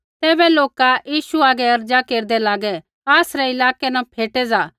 तैबै लोका यीशु हागै अर्ज़ा केरदै लागै आसरै इलाकै न फ़ेटै ज़ा